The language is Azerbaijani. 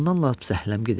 Ondan lap zəhləm gedir.